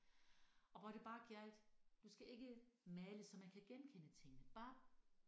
Og hvor det bare gjaldt du skal ikke male så man kan genkende tingene bare